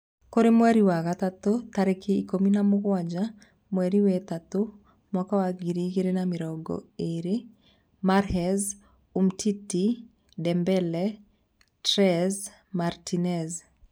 Kũrĩ mweri wa gatatũ, 17.03.2020: Mahrez, Umtiti, Dembele, Telles, Martinez